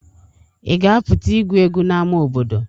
Ị ga-apụta igwu egwu n'ama obodo?